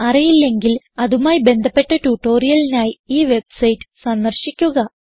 അറിയില്ലെങ്കിൽ അതുമായി ബന്ധപ്പെട്ട ട്യൂട്ടോറിയലിനായി ഈ വെബ്സൈറ്റ് സന്ദർശിക്കുക